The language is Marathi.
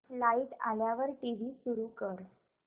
लाइट आल्यावर टीव्ही सुरू कर